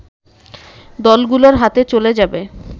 দলগুলোর হাতে চলে যা্বে